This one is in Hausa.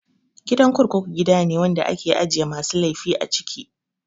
Gidan kurkuku gidane wanda ake ajiye masu laifi a cikin ta